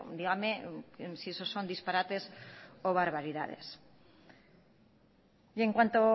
dígame si eso son disparates o barbaridades y en cuanto